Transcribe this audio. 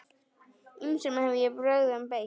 Ýmsum hef ég brögðum beitt.